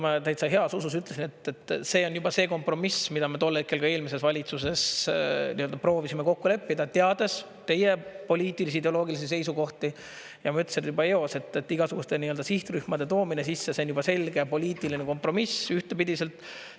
Ma täitsa heas usus ütlesin, see on juba see kompromiss, mida me tol hetkel ka eelmises valitsuses proovisime kokku leppida, teades teie poliitilisi, ideoloogilisi seisukohti, ja ma ütlesin juba eos, et igasuguste sihtrühmade toomine sisse on juba selge poliitiline kompromiss ühtepidiselt.